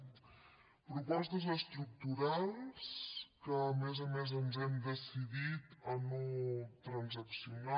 propostes estructurals que a més a més ens hem decidit a no transaccionar